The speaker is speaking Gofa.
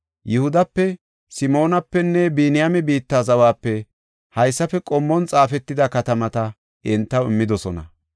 Yihudape, Simoonapenne Biniyaame biitta zawape haysafe qommon xaafetida katamata entaw immidosona.